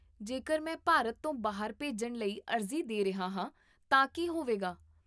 ਜੇਕਰ ਮੈਂ ਭਾਰਤ ਤੋਂ ਬਾਹਰ ਭੇਜਣ ਲਈ ਅਰਜ਼ੀ ਦੇ ਰਿਹਾ ਹਾਂ ਤਾਂ ਕੀ ਹੋਵੇਗਾ?